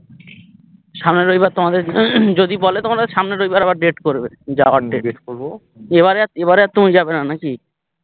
সামনের রবিবার তোমাদের যদি বলে তোমার ওই সামনের রবিবার আবার date করবে যাওয়ার জন্যে date করবো এবারে আর এবারে আর তো তুমি যাবেনা নাকি